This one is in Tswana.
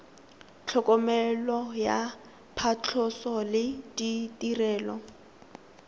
tlhokomelo ya phatlhoso le ditirelo